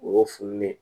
Wo funun